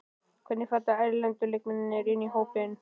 Hvernig falla erlendu leikmennirnir inn í hópinn?